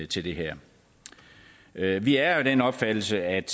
til det her her vi er jo af den opfattelse at